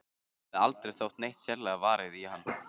Henni hafði aldrei þótt neitt sérlega varið í hann.